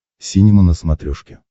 синема на смотрешке